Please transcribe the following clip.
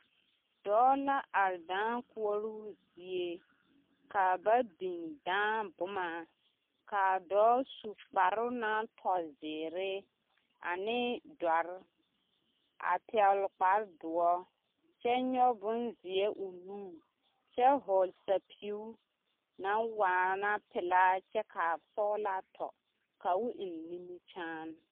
Dɔɔ la are dãã koɔroo zie ka ba biŋ dãã boma k'a dɔɔ su kparoŋ naŋ tɔ zeere ane dɔre a pɛgele kpare doɔ kyɛ nyɔge bonzeɛ o nuŋ kyɛ hɔɔle sapiu naŋ waana pelaa kyɛ k'a sɔgelaa tɔ ka o eŋ nimikyaane.